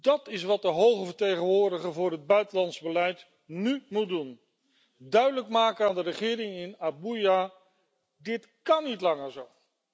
Dat is wat de hoge vertegenwoordiger voor het buitenlands beleid nú moet doen duidelijk maken aan de regering in Abuja dit kan niet langer zo.